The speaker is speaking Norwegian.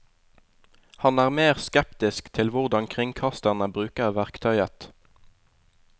Han er mer skeptisk til hvordan kringkasterne bruker verktøyet.